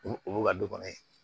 Olu ka dɔgɔ ye